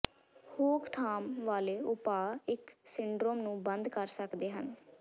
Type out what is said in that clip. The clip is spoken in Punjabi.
ਰੋਕਥਾਮ ਵਾਲੇ ਉਪਾਅ ਇਸ ਸਿੰਡਰੋਮ ਨੂੰ ਬੰਦ ਕਰ ਸਕਦੇ ਹਨ